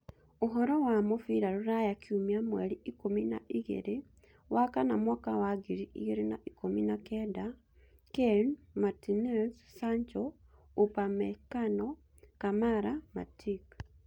Ũhoro wa mũbira rũraya kiumia mweri ikũmi na igĩrĩ wa kana mwaka wa ngiri igĩrĩ na ikũmi na kenda Kane, Martinez, Sancho, upamecano, Kamara, Matic